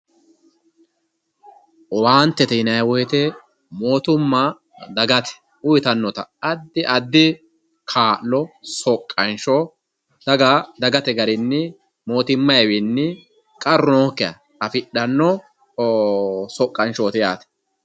Owaantete yinayiwoyite mootimma dagate uyitanno adda addi kaa'lo soqqansho daga dagate garinni mootimmayiwiinni qarru nookkiha afidhanno soqqanshooti yaate.